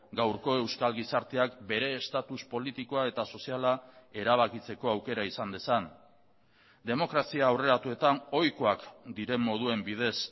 gaurko euskal gizarteak bere estatus politikoa eta soziala erabakitzeko aukera izan dezan demokrazia aurreratuetan ohikoak diren moduen bidez